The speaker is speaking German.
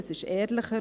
Es ist ehrlicher.